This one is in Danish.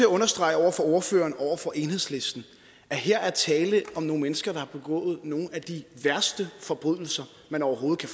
understrege over for ordføreren og over for enhedslisten at her er tale om nogle mennesker der har begået nogle af de værste forbrydelser man overhovedet